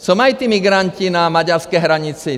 Co mají ti migranti na maďarské hranici?